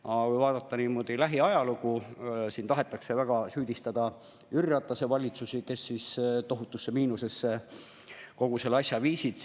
Aga kui vaadata lähiajalugu, siis tahetakse väga süüdistada Jüri Ratase valitsusi, kes tohutusse miinusesse kogu eelarve viisid.